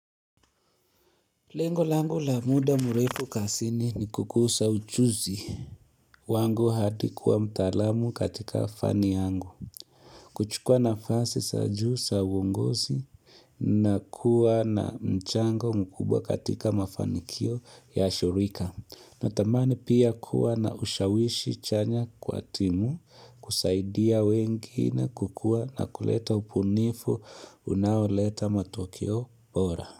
Lengo langu la muda mrefu kazini ni kukuza ujuzi wangu hadi kuwa mtaalamu katika fani yangu kuchukua nafasi za juu za uongozi na kuwa na mchango mkubwa katika mafanikio ya shirika na tamani pia kuwa na ushawishi chanya kwa timu kusaidia wengine kukua na kuleta ubunifu unaoleta matokeo bora.